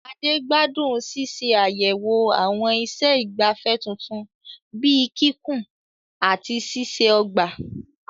Ade gbádùn ṣíṣe àyẹ̀wò àwọn iṣẹ́ ìgbafẹ́ tuntun bíi kíkùn àti ṣíṣe ọgbà.